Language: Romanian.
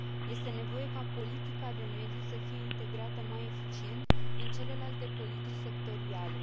Este nevoie ca politica de mediu să fie integrată mai eficient în celelalte politici sectoriale.